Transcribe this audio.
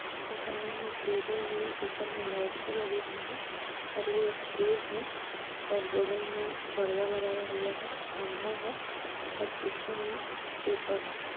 ओर सामने मे टेबल भी है ऊपर मे लाइट स लगे हुवे है ओर ये स्टेज है ओर बगल मे पर्दा लगाया हुवा है खंबा है ओर पीछे मे पेपर है।